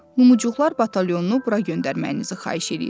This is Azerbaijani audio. Lumuçuqlar batalyonunu bura göndərməyinizi xahiş eləyirəm.